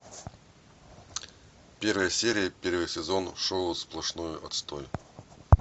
первая серия первый сезон шоу сплошной отстой